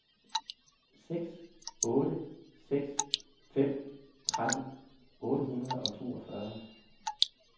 seks otte seks fem tretten otte hundrede og toogfyrre